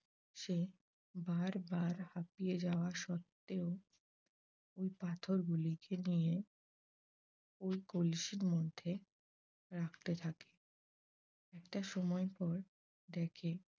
সে বারবার হাপিয়ে যাওয়া স্বত্তেও ও পাথরগুলিকে নিয়ে ওই কলসির মধ্যে রাখতে থাকে একটা সময় পর দেখে